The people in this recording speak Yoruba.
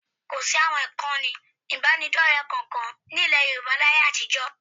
Kò sí àwọn ìkànnì ìbánidọ́rẹ kankan ní ilẹ̀ Yorùbá láyé àtijọ́